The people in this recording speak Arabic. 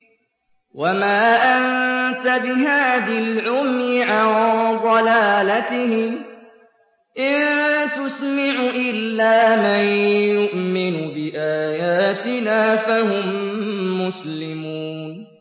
وَمَا أَنتَ بِهَادِ الْعُمْيِ عَن ضَلَالَتِهِمْ ۖ إِن تُسْمِعُ إِلَّا مَن يُؤْمِنُ بِآيَاتِنَا فَهُم مُّسْلِمُونَ